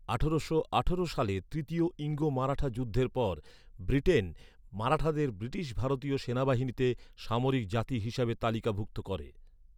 আঠারোশো আঠারো সালে তৃতীয় ইঙ্গো মারাঠা যুদ্ধের পর ব্রিটেন, মারাঠাদের ব্রিটিশ ভারতীয় সেনাবাহিনীতে, সামরিক জাতি হিসেবে তালিকাভুক্ত করে।